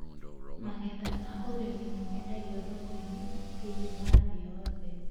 Magetha ma ũrĩmi nĩ mendagio thoko-inĩ thĩinĩ wa thĩ yothe